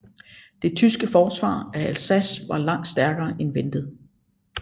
Det tyske forsvar af Alsace var langt stærkere end ventet